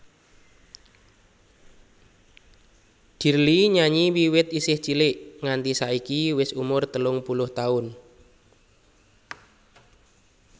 Dirly nyanyi wiwit isih cilik nganti saiki wis umur telung puluh taun